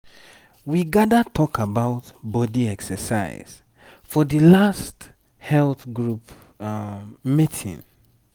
we gather talk about body exercise for that last health group meeting.